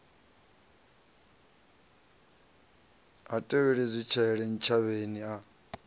ha tevheli zwitshele ntshavheni a